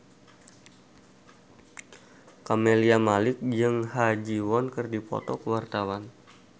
Camelia Malik jeung Ha Ji Won keur dipoto ku wartawan